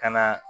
Ka na